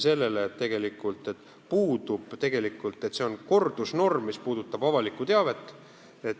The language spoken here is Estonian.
See on kordusnorm, mis puudutab avalikku teavet.